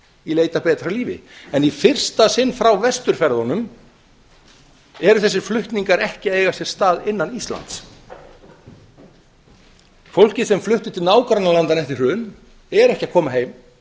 í leit að betra lífi en í fyrsta sinn frá vesturferðunum eiga þessir sér ekki stað innan íslands fólkið sem flutti til nágrannalandanna eftir hrun er ekki að koma heim